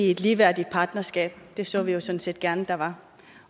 et ligeværdigt partnerskab det så vi jo sådan set gerne der var